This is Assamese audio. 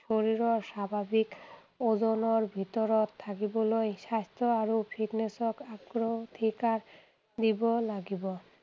শৰীৰৰ স্বাভাৱিক ওজনৰ ভিতৰত থাকিবলৈ স্বাস্থ্য আৰু fitness ক অগ্ৰাধিকাৰ দিব লাগিব।